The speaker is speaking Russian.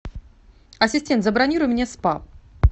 ассистент забронируй мне спа